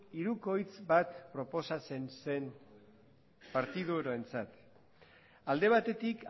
hirukoitz bat proposatzen zen partiduentzat alde batetik